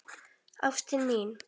Ástin mín